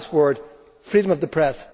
One last word on freedom of the press.